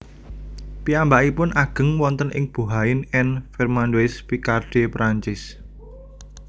Piyambakipun ageng wonten ing Bohain en Vermandois Picardie Perancis